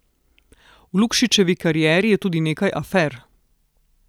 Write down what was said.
V Lukšičevi karieri je tudi nekaj afer.